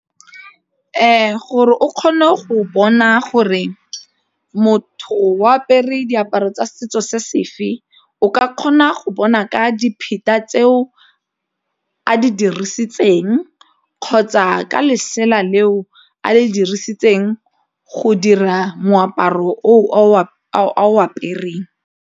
Gore o kgone go bona gore motho o apere diaparo tsa setso se sefe o ka kgona go bona ka dipheta tseo a di dirisitseng kgotsa ka letsela leo a le dirisitseng go dira moaparo o o apereng.